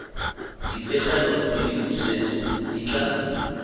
dipegelo le dipusetso di tla